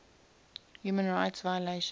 human rights violations